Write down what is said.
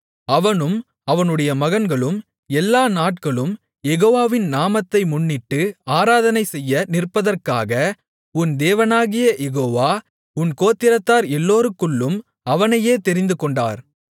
அவனும் அவனுடைய மகன்களும் எல்லா நாட்களும் யெகோவாவின் நாமத்தை முன்னிட்டு ஆராதனைசெய்ய நிற்பதற்காக உன் தேவனாகிய யெகோவா உன் கோத்திரத்தார் எல்லோருக்குள்ளும் அவனையே தெரிந்துகொண்டார்